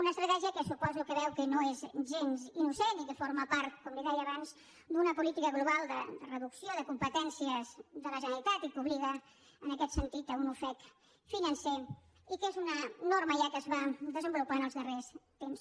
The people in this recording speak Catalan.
una estratègia que suposo que veu que no és gens innocent i que forma part com li deia abans d’una política global de reducció de competències de la generalitat i que obliga en aquest sentit a un ofec financer i que és una norma ja que es va desenvolupar en els darrers temps